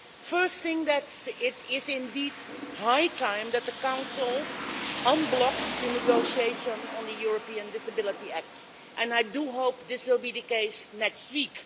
Firstly, it is indeed high time that the Council unblocked the negotiation on the European Disability Act, and I do hope this will be the case next week.